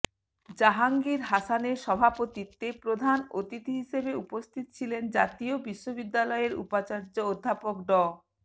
জাহাঙ্গীর হাসানের সভাপতিত্বে প্রধান অতিথি হিসেবে উপস্থিত ছিলেন জাতীয় বিশ্ববিদ্যালয়ের উপাচার্য অধ্যাপক ড